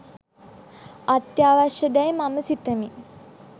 අත්‍යවශ්‍ය දැයි මම සිතමි